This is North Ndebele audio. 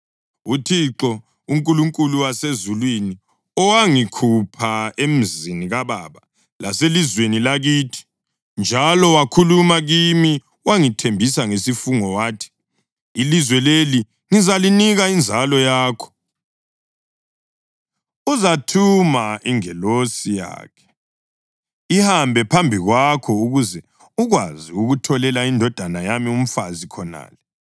UThixo, uNkulunkulu wasezulwini, owangikhupha emzini kababa laselizweni lakithi njalo owakhuluma kimi, wangithembisa ngesifungo wathi, ‘Ilizwe leli ngizalinika inzalo yakho,’ uzathuma ingilosi yakhe ihambe phambi kwakho ukuze ukwazi ukutholela indodana yami umfazi khonale.